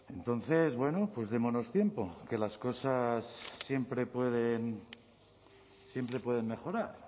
entonces bueno pues démonos tiempo que las cosas siempre pueden mejorar